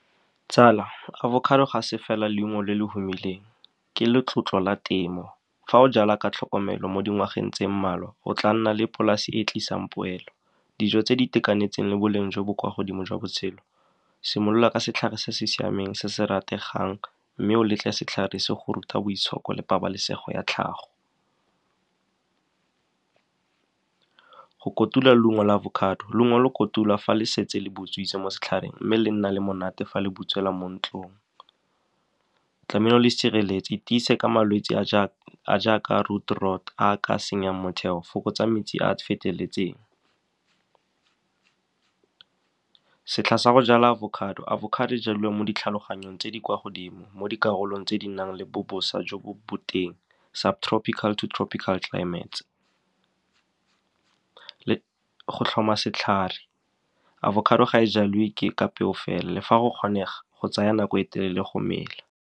Tsala, avocado ga se fela leungo le le humileng, ke letlotlo la temo. Fa o jala ka tlhokomelo mo dingwageng tse mmalwa, o tla nna le polase e e tlisang poelo, dijo tse di itekanetseng le boleng jo bo kwa godimo jwa botshelo. Simolola ka setlhare se se siameng se se rategang mme o letle setlhare se go rute boitshoko le pabalesego ya tlhago. Go kotula leungo la avocado, leungo lo kotulwa fa le setse le butswitse mo setlhareng mme le nna le monate fa le butswela mo ntlong. Tlamehile o le sireletse ka malwetse a a jaaka root rot a a ka senyang motheo. Fokotsa metsi a a feteletseng. Setlha sa go jala avocado, avocado e jaliwa mo ditlhaloganyong tse di kwa godimo, mo dikarolong tse di nang le bo bosa jo bo boteng, sub tropical to tropical climates. Go tlhoma setlhare, avocado ga e jaliwe ka peo fela, le fa go kgonega go tsaya nako e telele go mela.